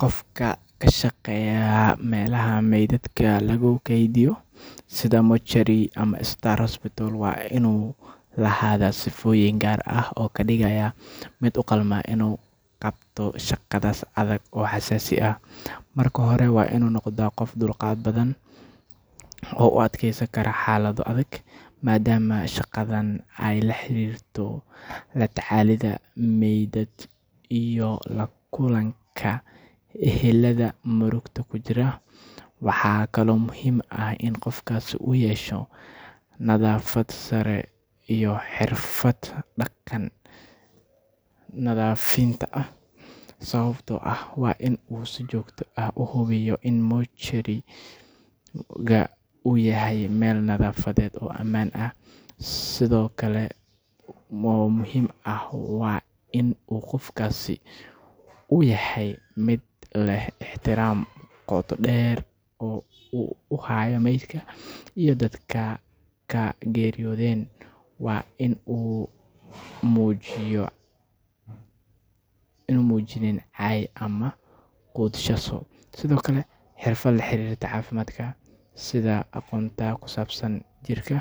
Qofka ka shaqeeya meelaha meydadka lagu kaydiyo sida mortuary waa inuu lahaadaa sifooyin gaar ah oo ka dhigaya mid u qalma inuu qabto shaqadaas adag oo xasaasi ah. Marka hore, waa inuu noqdaa qof dulqaad badan oo u adkeysan kara xaalado adag, maadaama shaqadan ay la xiriirto la tacaalidda meydad iyo la kulanka ehelada murugada ku jira. Waxaa kaloo muhiim ah in qofkaasi uu yeesho nadaafad sare iyo xirfad dhanka nadiifinta ah, sababtoo ah waa in uu si joogto ah u hubiyaa in mortuary-ga uu yahay meel nadaafadeed oo ammaan ah. Sifo kale oo muhiim ah waa in qofkaasi uu yahay mid leh ixtiraam qoto dheer oo uu u hayo maydka iyo dadka ay ka geeriyoodeen, waana in aanu muujin cay ama quudhsasho. Sidoo kale, xirfad la xiriirta caafimaadka sida aqoonta ku saabsan jirka